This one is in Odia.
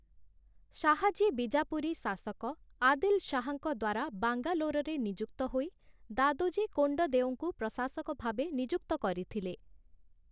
ଶାହାଜୀ ବିଜାପୁରୀ ଶାସକ ଆଦିଲ୍ ଶାହାଙ୍କ ଦ୍ଵାରା ବାଙ୍ଗାଲୋରରେ ନିଯୁକ୍ତ ହୋଇ, ଦାଦୋଜୀ କୋଣ୍ଡଦେଓଙ୍କୁ ପ୍ରଶାସକ ଭାବେ ନିଯୁକ୍ତ କରିଥିଲେ ।